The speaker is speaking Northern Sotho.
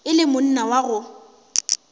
e le monna wa go